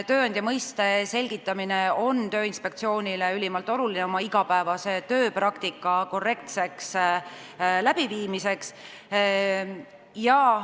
Tööandja mõiste selgitamine on Tööinspektsioonile ülimalt oluline oma igapäevase tööpraktika korrektseks läbiviimiseks.